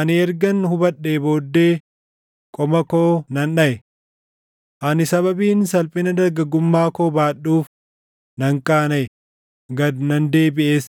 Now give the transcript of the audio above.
ani ergan hubadhee booddee, qoma koo nan dhaʼe. Ani sababiin salphina dargaggummaa koo baadhuuf, nan qaanaʼe; gad nan deebiʼes.’